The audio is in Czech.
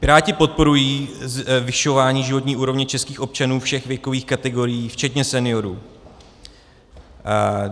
Piráti podporují zvyšování životní úrovně českých občanů všech věkových kategorií včetně seniorů.